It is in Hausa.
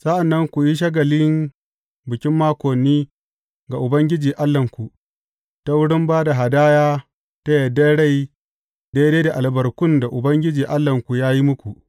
Sa’an nan ku yi shagalin Bikin Makoni ga Ubangiji Allahnku, ta wurin ba da hadaya ta yardar rai daidai da albarkun da Ubangiji Allahnku ya yi muku.